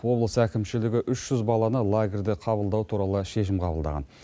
облыс әкімшілігі үш жүз баланы лагерьде қабылдау туралы шешім қабылдаған